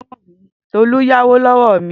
Tolu ya owo lowo mi.